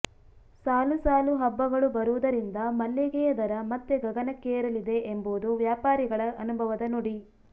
ಸಾಲು ಸಾಲು ಹಬ್ಬಗಳು ಬರುವುದರಿಂದ ಮಲ್ಲಿಗೆಯ ದರ ಮತ್ತೆ ಗಗನಕ್ಕೇರಲಿದೆ ಎಂಬುದು ವ್ಯಾಪಾರಿಗಳ ಅನುಭವದ ನುಡಿ